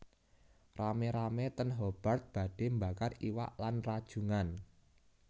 Rame rame ten Hobart badhe mbakar iwak lan rajungan